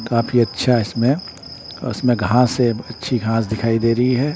काफी अच्छा इसमें औ इसमें घास है अच्छी घास दिखाई दे रही है।